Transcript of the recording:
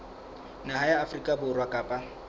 naha ya afrika borwa kapa